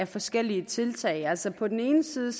forskellige tiltag altså på den ene side